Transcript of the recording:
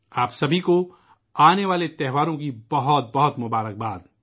آنے والے تیوہاروں کے لئے آپ سبھی کو میری طرف سے نیک خواہشات